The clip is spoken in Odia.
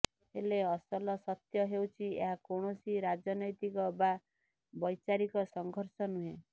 ହେଲେ ଅସଲ ସତ୍ୟ ହେଉଛି ଏହା କୌଣସି ରାଜନୈତିକ ବା ବୈଚାରିକ ସଂଘର୍ଷ ନୁହେଁ